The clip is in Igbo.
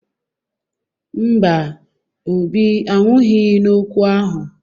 Mba, Obi anwụghị n'okwu ahụ